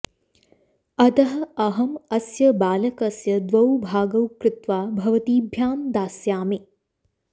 अतः अहम् अस्य बालकस्य द्वौ भागौ कृत्वा भवतीभ्यां दास्यामि